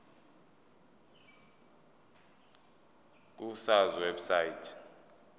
ku sars website